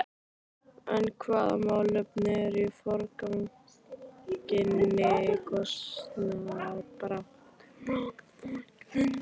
En hvaða málefni eru í forgrunni í kosningabaráttu Flokks fólksins?